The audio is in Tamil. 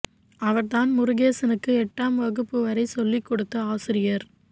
அவர் தான் முருகேசனுக்கு எட்டாம் வகுப்பு வரை சொல்லிக் கொடுத்த ஆசிரியர்